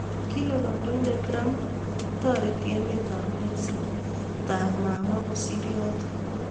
Kile kandoindet Trump kole taareti emet ap mexico taap mamwaa kosiir yootok